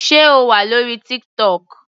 Sé O wà lórí TikTok.